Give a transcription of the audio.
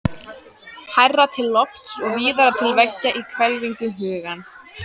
Hærra til lofts og víðara til veggja í hvelfingu hugans?